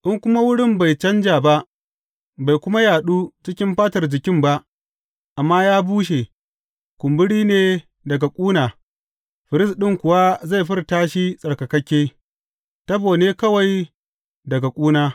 In kuma wurin bai canja ba, bai kuma yaɗu cikin fatar jikin ba amma ya bushe, kumburi ne daga ƙuna, firist ɗin kuwa zai furta shi tsarkakakke; tabo ne kawai daga ƙuna.